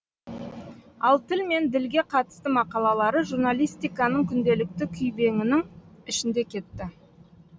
ал тіл мен ділге қатысты мақалалары журналистиканың күнделікті күйбеңінің ішінде кетті